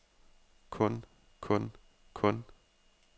kun kun kun